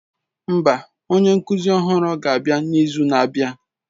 Mba, onye nkuzi ọhụrụ ga-abịa n'izu na-abịa